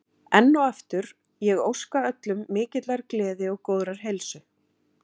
Enn og aftur, ég óska öllum mikillar gleði og góðrar heilsu.